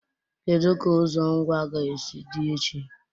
Kedu ka ụzọ Ngwa ga-esi dị echi?